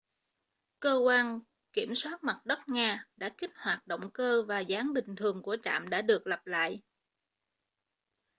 cơ quan kiểm soát mặt đất nga đã kích hoạt động cơ và dáng bình thường của trạm đã được lập lại